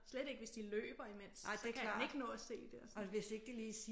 Slet ikke hvis de løber imens så kan han ikke nå at se det og sådan